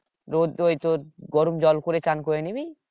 রোদ টোদ গরম জল করে চান করে নিবি